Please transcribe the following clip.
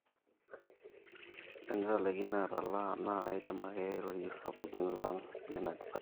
tenitalaikine atalaa na kaidim ake airorie sapukin lang leina department